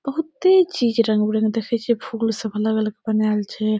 बहुते चीज़ रंग-बिरंग देखई छे फूल सब अलग-अलग बनाएल छे।